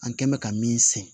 An kɛn bɛ ka min sɛnɛn